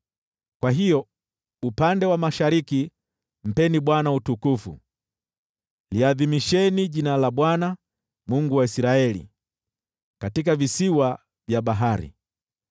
Kwa hiyo upande wa mashariki mpeni Bwana utukufu, liadhimisheni jina la Bwana , Mungu wa Israeli, katika visiwa vya bahari.